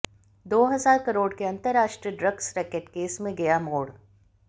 दो हजार करोड़ के अंतरराष्ट्रीय ड्रग्स रैकेट केस में नया मोड़